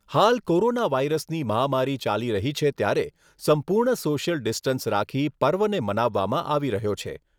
હાલ કોરોના વાયરસની મહામારી ચાલી રહી છે ત્યારે સંપૂર્ણ સોશિયલ ડિસ્ટન્સ રાખી પર્વને મનાવામાં આવી રહ્યો છે.